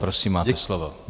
Prosím máte slovo.